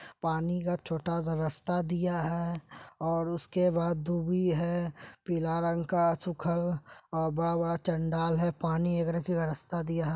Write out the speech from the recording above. पानी का छोटा सा रस्ता दिया है और उसके बाद दूभी है पीला रंग का सुखल और बड़ा बड़ा चंडाल है पानी एगरे का रस्ता दिया है।